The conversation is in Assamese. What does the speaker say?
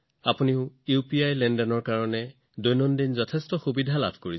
আপোনালোকেও দৈনন্দিন জীৱনত ইউপিআইৰ সুবিধা অনুভৱ কৰিব